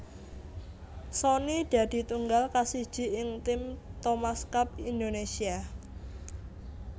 Sony dadi tunggal kasiji ing tim Thomas Cup Indonesia